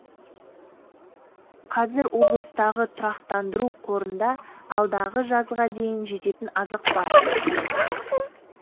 қазір облыстағы тұрақтандыру қорында алдағы жазға дейін жететін азық бар